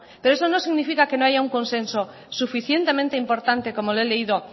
pero eso no significa que no haya un consenso suficientemente importante como le he leído